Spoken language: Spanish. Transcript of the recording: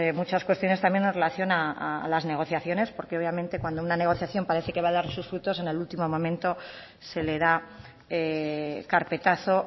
muchas cuestiones también en relación a las negociaciones porque obviamente cuando una negociación parece que va a dar sus frutos en el último momento se le da carpetazo